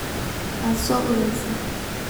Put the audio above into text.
Waad soo ureysaa.